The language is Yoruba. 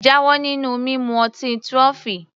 Jáwọ́ nínú mímu ọtí trophy!